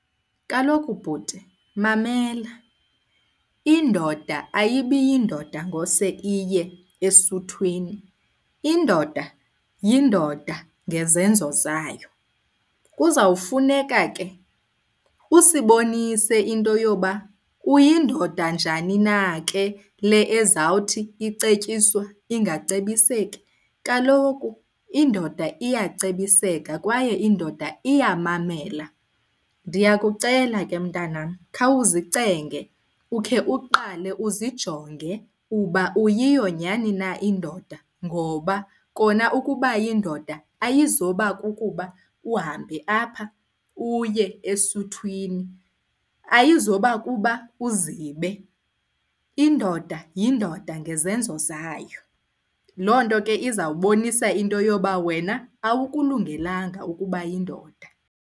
Kaloku bhuti, mamela. Indoda ayibi yindoda ngose iye esuthwini, indoda yindoda ngezenzo zayo. Kuzawufuneka ke usibonise into yoba uyindoda njani na ke le ezawuthi icetyiswa ingacebiseki. Kaloku indoda iyacebiseka kwaye indoda iyamamela. Ndiyakucela ke mntanam khawuzicenge ukhe uqale uzijonge uba uyiyo nyhani na indoda ngoba kona ukuba yindoda ayizoba kukuba uhambe apha uye esuthwini. Ayizoba kuba uzibe, indoda yindoda ngezenzo zayo. Loo nto ke izawubonisa into yoba wena awukulungelanga ukuba yindoda.